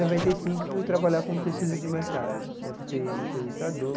Noventa e cinco, fui trabalhar com pesquisa de mercado né, fui ser entrevistador.